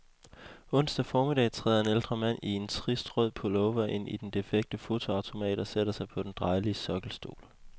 Onsdag formiddag træder en ældre mand i en trist rød pullover ind i den defekte fotoautomat og sætter sig på den drejelige sokkelstol.